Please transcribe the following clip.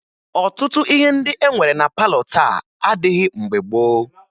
Ọtụtụ ihe ndị e nwere na palọ taa adịghị mgbe gboo